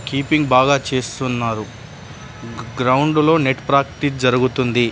Keeping బాగా చేస్తున్నారు. Ground లో నెట్ ప్రాక్టీస్ జరుగుతుంది.